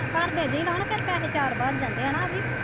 ਘਰ ਦੇ ਵੀ ਰਹਿਣ ਫਿਰ ਤਾਂ ਵਿਚਾਰ ਬਣ ਜਾਂਦੇ ਹਨਾਂ ਅਭੀ।